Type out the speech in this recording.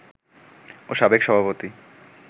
ও সাবেক সভাপতি